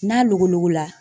N'a logologo la.